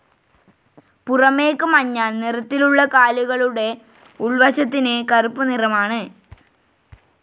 പുറമേക്ക് മഞ്ഞ നിറത്തിലുള്ള കാലുകളുടെ ഉൾവശത്തിന് കറുപ്പ് നിറമാണ്.